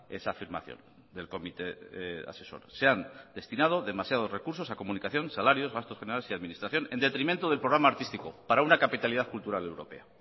esa afirmación del comité asesor se han destinado demasiados recursos a comunicación salarios gastos generales y administración en detrimento del programa artístico para una capitalidad cultural europea